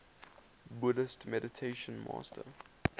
buddhist meditation master